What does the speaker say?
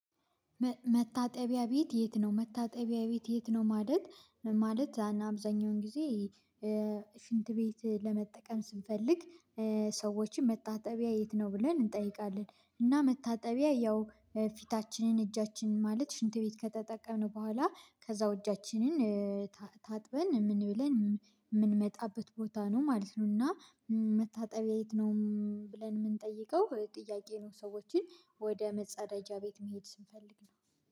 መታጠቢያ ቤት የት ነው መታጠቢያ ቤት የት ነው? ማለት ማለት አብዛኛውን ጊዜ ቤት ለመጠቀም ስንፈልግ ሰዎችን መታጠቢያ የት ነው ብለን እንጠይቃለን። እና መታጠቢያ ያው ፊታችንን እጃችን ማለት ሽንት ቤት ከተጠቀመ በኋላ ከዛው እጃችንን ታጥበን ምን ብለን የምንመጣበት ቦታ ነው ማለት ነው። እና መታጠቢያ የት ነው? ብለን የምንጠይቀው ጥያቄ ነው። ሰዎችን ወደ መጸዳጃ ቤት መሄድ ስንፈልግ ነው።